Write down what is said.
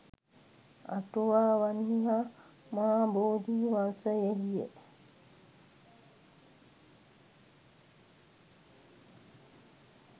අටුවාවන්හි හා මහා බෝධිවංශයෙහිය.